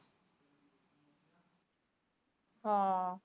ਹਮ